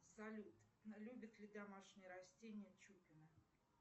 салют любит ли домашние растения чупина